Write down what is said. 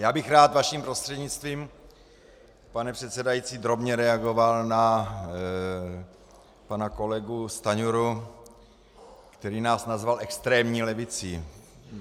Já bych rád vaším prostřednictvím, pane předsedající, drobně reagoval na pana kolegu Stanjuru, který nás nazval extrémní levicí.